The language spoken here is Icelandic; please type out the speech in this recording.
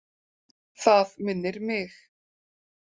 Það minnir mig.